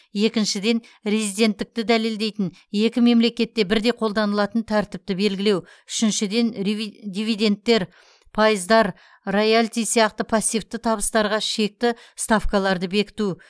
екіншіден резиденттікті дәлелдейтін екі мемлекетте бірдей қолданылатын тәртіпті белгілеу үшіншіден дивидендтер пайыздар роялти сияқты пассивті табыстарға шекті ставкаларды бекіту